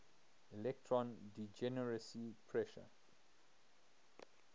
electron degeneracy pressure